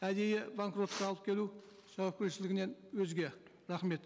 әдейі банкротқа алып келу жауапкершілігінен өзге рахмет